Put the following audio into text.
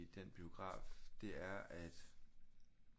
I den biograf det er at